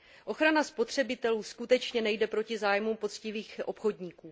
Ochrana spotřebitelů skutečně nejde proti zájmu poctivých obchodníků.